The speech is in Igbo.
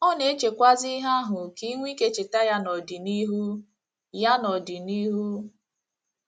Ọ na - echekwazi ihe ahụ ka i nwee ike icheta ya n’ọdịnihu. ya n’ọdịnihu.